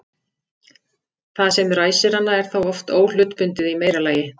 Það sem ræsir hana er þá oft óhlutbundið í meira lagi.